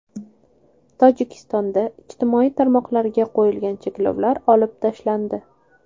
Tojikistonda ijtimoiy tarmoqlarga qo‘yilgan cheklovlar olib tashlandi.